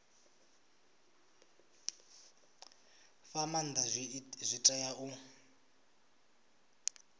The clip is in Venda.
fha maanda zwi tea u